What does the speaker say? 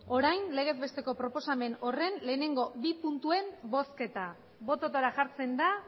orain legez besteko proposamen horren lehenengo bi puntuen bozketa bototara jartzen da